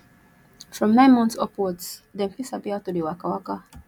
from nine months upwards dem fit sabi how to de waka waka